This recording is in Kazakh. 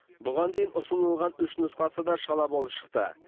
бұған дейін ұсынылған үш нұсқасы да шала болып шықты